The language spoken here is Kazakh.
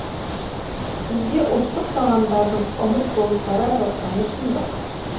бізде ұлттық тағамдардың ұмыт болып бара жатқаны шындық